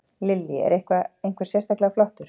Lillý: Er eitthvað, einhver sérstaklega flottur?